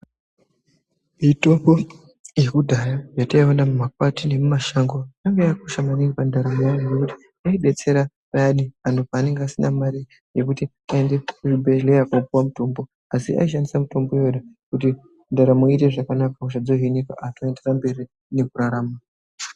Mitombo yekudhaya yataiona mumapati nemumashango yanga yaakushanda maningi mumandaramo evantu nekuti yaibetsera payani antu paanenge vasinamari yekuti aende kuzvibhedhleya kopiwa mutombo asi aishandisa mutombo iwona kuti ndaramo iite zvakanaka hosha dzohinika antu oenderere mberi ngekurarama.